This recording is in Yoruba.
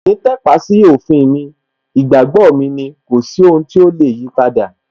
Mi ò ní tàpá sí òfin mi, ìgbàgbọ́ mi ni, kò sí ohun tí ó lè yipadà